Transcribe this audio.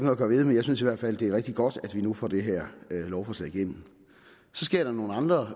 at gøre ved men jeg synes i hvert fald det er rigtig godt at vi nu får det her lovforslag igennem så sker der nogle andre